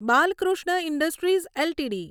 Balkrishna industries LTD